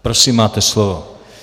Prosím, máte slovo.